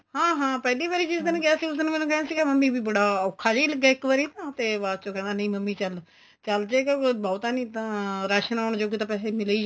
ਹਾਂ ਹਾਂ ਪਹਿਲੀ ਵਾਰੀ ਜਿਸ ਦਿਨ ਗਿਆ ਸੀ ਉਸ ਦਿਨ ਮੈਨੂੰ ਕਿਹਾ ਸੀ ਕੀ ਮੰਮੀ ਬੜਾ ਔਖਾ ਜਾ ਲੱਗਿਆ ਇੱਕ ਵਾਰੀ ਤੇ ਬਾਚੋ ਕਹਿੰਦਾ ਨਹੀਂ ਮੰਮੀ ਚੱਲ ਚੱਲ ਜੇਗਾ ਕੋਈ ਬਹੁਤਾ ਨਹੀਂ ਤਾਂ ਰਾਸ਼ਨ ਆਣ ਜੋਗੇ ਪੈਸੇ ਤਾਂ ਮਿਲ ਈ